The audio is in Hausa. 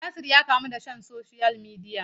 Yasir ya kamu da son social media.